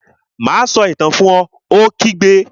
Má a sọ Itàn náà fun! Ó kígbe